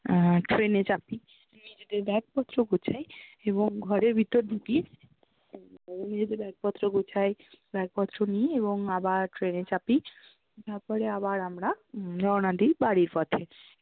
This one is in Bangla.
আহ train এ চাপি, নিজেদের bag পত্র গোছাই এবং ঘরের ভিতর ঢুকি, নিজেদের bag পত্র গোছাই bag পত্র নি, এবং আবার train এ চাপি তারপরে আবার আমরা রোউনা দি বাড়ির পথে